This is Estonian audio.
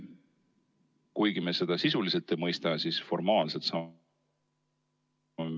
Kuigi me seda sisuliselt ei mõista, siis formaalselt see on ...